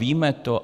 Víme to?